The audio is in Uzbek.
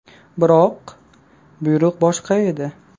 Biroq... buyruq boshqa edi.